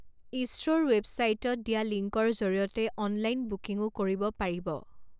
ইছৰ'ৰ ৱেৱছাইটত দিয়া লিংকৰ জৰিয়তে অনলাইন বুকিঙো কৰিব পাৰিব।